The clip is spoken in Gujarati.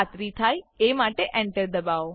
ખાતરી થાય એ માટે Enter દબાવો